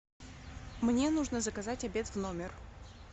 мне нужно заказать обед в номер